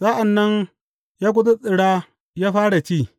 Sa’an nan ya gutsuttsura ya fara ci.